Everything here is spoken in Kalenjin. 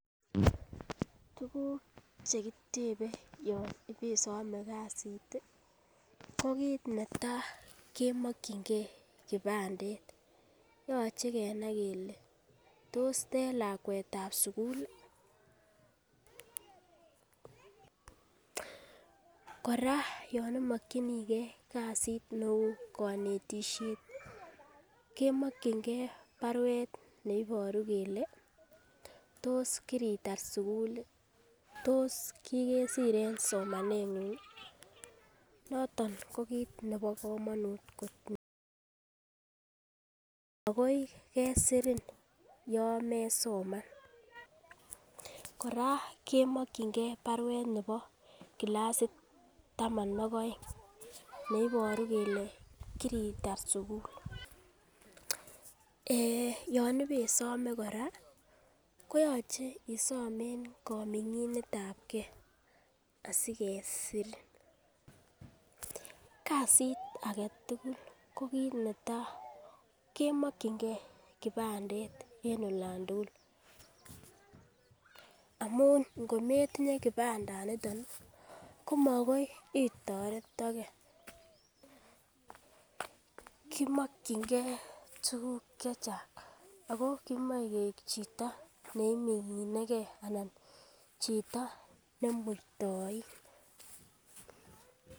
Tuguk chekitebe yon ibesome kasit ih ko kit netaa kemokyingee kipandet yoche kenai kele tos tei lakwet ab sukul ih kora yon imokyinigee kasit neu konetisiet kemokyingee baruet neiboru kele tos kiritar sukul ih? Tos kikesir en somanet ng'ung ih noton ko kit nebo komonut kot missing, makoi kesirin yon mesoman kora kemokyingee baruet nebo clasit taman ak oeng neiboru kele kiritar sukul, yon ibesome kora koyoche isom en kominginet ab gee asikesir kasit aketugul ko kit netaa kemokyingee kipandet en olan tugul amun ngo metinye kipandaniton ih ko makoi itoretoke kimokyingee tuguk chechang ako kimoe keik chito neimingine gee ana chito nemuitoin